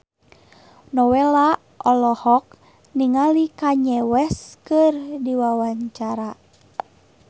Nowela olohok ningali Kanye West keur diwawancara